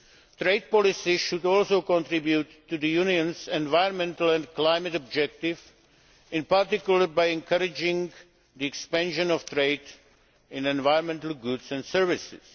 Trade policies should also contribute to the Union's environmental and climate objective, in particular by encouraging the expansion of trade in environmental goods and services.